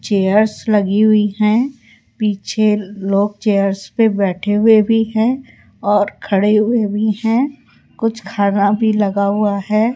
Chairs लगी हुई है पीछे लोग चेयर्स पर बैठे हुए भी है और खडे़ हुए भी है कुछ खाना भी लगा हुआ है।